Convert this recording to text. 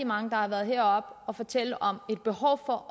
mange der har været heroppe og fortælle om et behov for